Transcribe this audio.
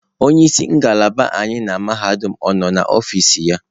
Onye isi ngalaba anyị na mahadum ọ nọ n'ọfịs ya?